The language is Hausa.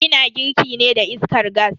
Ina girki ne da iskar gas.